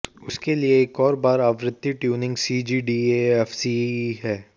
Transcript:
उसके लिए एक और बार आवर्ती ट्यूनिंग सीजीडीएफसीई है